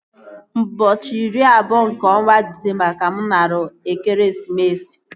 Ụbọchị iri abụọ nke ọnwa Disemba ka mụ nara ekeresimesi